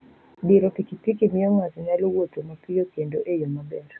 Diro piki piki miyo ng'ato nyalo wuotho mapiyo kendo e yo maber.